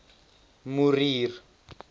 morier